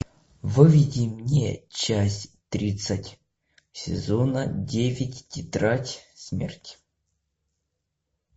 выведи мне часть тридцать сезона девять тетрадь смерти